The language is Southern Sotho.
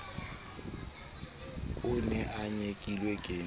o ne o nyekilwe ke